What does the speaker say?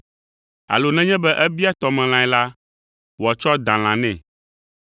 Alo nenye be ebia tɔmelãe la, wòatsɔ dalã nɛ?